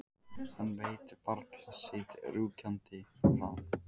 Hann veit varla sitt rjúkandi ráð.